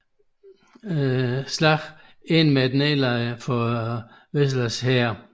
Slaget endte med et nederlag for Velas hær